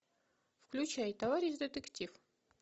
включай товарищ детектив